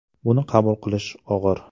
Buni qabul qilish og‘ir.